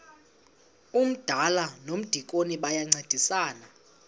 umdala nomdikoni bayancedisana